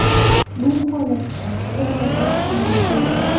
Bu holatda bir narsa tushunarsiz.